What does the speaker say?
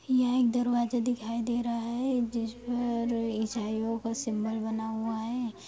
यह एक दरवाजा दिखाई दे रहा है जिसमें और ईसाइयों का सिंबल बना हुआ है।